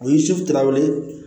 U ye su taw ye